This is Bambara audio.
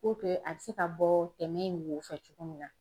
puruke a be se ka bɔ tɛmɛ in wo fɛ cogo min na